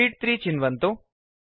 शीत् 3 चिन्वन्तु